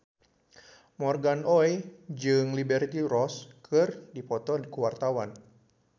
Morgan Oey jeung Liberty Ross keur dipoto ku wartawan